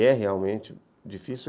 E é realmente difícil.